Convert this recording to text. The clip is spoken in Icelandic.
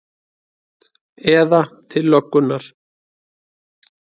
Eða til löggunnar?